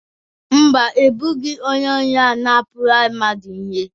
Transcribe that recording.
Mba, egbubeghị onye ohi ahụ na-apụnara mmadụ ihe